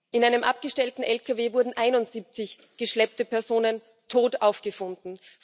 In einem abgestellten LKW wurden 71 geschleppte Personen tot aufgefunden.